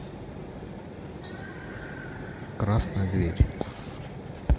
красная дверь